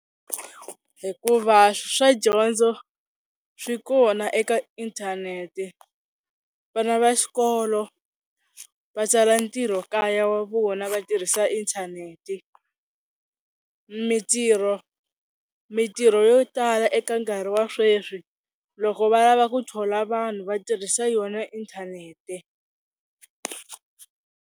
Hikuva swa dyondzo swi kona eka inthanete vana va xikolo va tsala ntirho kaya wa vona va tirhisa inthaneti, mintirho mintirho yo tala eka nkarhi wa sweswi loko va lava ku thola vanhu va tirhisa yona inthanete.